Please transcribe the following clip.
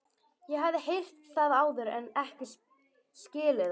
Ég hafði heyrt það áður en ekki skilið það.